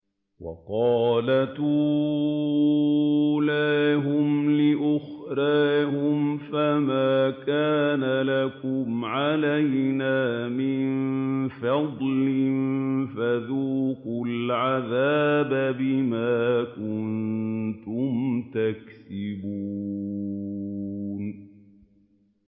وَقَالَتْ أُولَاهُمْ لِأُخْرَاهُمْ فَمَا كَانَ لَكُمْ عَلَيْنَا مِن فَضْلٍ فَذُوقُوا الْعَذَابَ بِمَا كُنتُمْ تَكْسِبُونَ